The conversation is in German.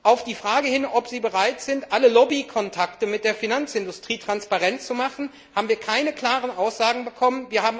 Auf die Frage hin, ob sie bereit sind, alle Lobbykontakte mit der Finanzindustrie transparent zu machen, haben wir keine klaren Aussagen bekommen.